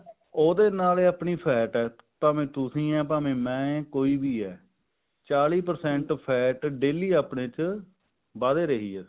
ਉਹਦੇ ਨਾਲ ਹੀ ਆਪਣੀ fat ਹੈ ਭਾਵੇਂ ਤੁਸੀਂ ਹੋ ਭਾਵੇਂ ਮੈਂ ਹਾਂ ਕੋਈ ਵੀ ਹੈ ਚਾਲੀ percent fat daily ਆਪਣੇ ਚ ਵਧ ਰਹੀ ਆ